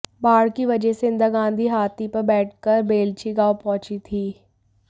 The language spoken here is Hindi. बाढ़ की वजह से इंदिरा गांधी हाथी पर बैठकर बेलछी गांव पहुंची थीं